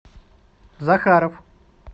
захаров